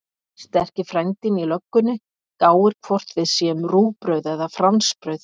Sterki frændinn í löggunni gáir hvort við séum rúgbrauð eða fransbrauð.